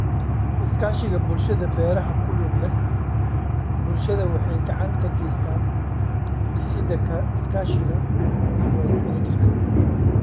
Iskaashiga Bulshada Beeraha ku lug leh bulshada waxay gacan ka geystaan ??dhisidda iskaashiga iyo wadajirka.